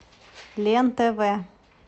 лен тв